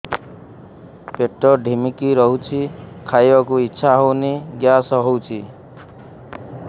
ପେଟ ଢିମିକି ରହୁଛି ଖାଇବାକୁ ଇଛା ହଉନି ଗ୍ୟାସ ହଉଚି